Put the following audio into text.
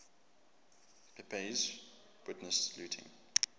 pepys witnessed looting